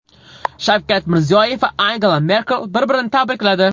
Shavkat Mirziyoyev va Angela Merkel bir-birini tabrikladi.